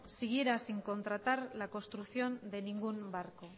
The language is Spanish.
siguiera sin contratar la construcción de ningún barco